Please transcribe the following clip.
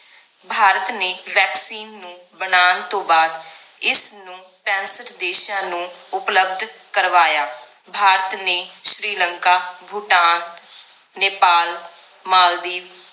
ਭਾਰਤ ਨੇ vaccine ਨੂੰ ਬਨਾਣ ਤੋਂ ਬਾਅਦ ਇਸ ਨੂੰ ਪੈਂਸਠ ਦੇਸ਼ਾਂ ਨੂੰ ਉਪਲਬਧ ਕਰਵਾਇਆ ਭਾਰਤ ਨੇ ਸ਼੍ਰੀ ਲੰਕਾ ਭੂਟਾਨ ਨੇਪਾਲ ਮਾਲਦੀਵ